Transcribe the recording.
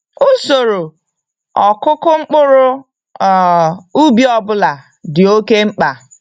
Usoro ọkụkụ mkpụrụ um ubi ọbụla dị oke mkpa.